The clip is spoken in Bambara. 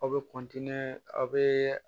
Aw bɛ aw bɛ